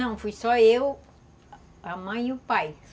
Não, fui só eu, a mãe e o pai.